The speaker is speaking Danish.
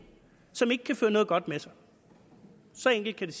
som ikke kan føre noget godt med sig så enkelt